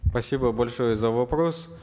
спасибо большое за вопрос